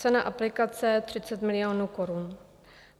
Cena aplikace 30 milionů korun.